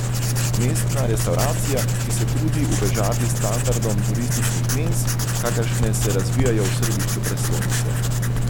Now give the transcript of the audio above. Mestna restavracija, ki se trudi ubežati standardom turističnih menz, kakršne se razvijajo v središču prestolnice.